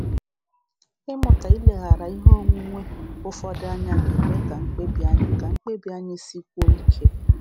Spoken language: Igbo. um Ịmụta ileghara ihe onwunwe um ụfọdụ anya ga-eme ka mkpebi anyị ka mkpebi anyị sikwuo ike.